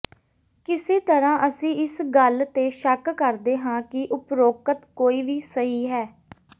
ਕਿਸੇ ਤਰ੍ਹਾਂ ਅਸੀਂ ਇਸ ਗੱਲ ਤੇ ਸ਼ੱਕ ਕਰਦੇ ਹਾਂ ਕਿ ਉਪ੍ਰੋਕਤ ਕੋਈ ਵੀ ਸਹੀ ਹੈ